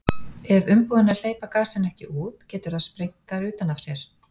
ef umbúðirnar hleypa gasinu ekki út getur það sprengt þær utan af sér